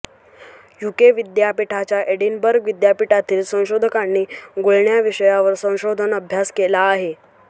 UK विद्यापीठाच्या Edinburgh विद्यापीठातील संशोधकांनी गुळण्या विषयावर संशोधन अभ्यास केला आहे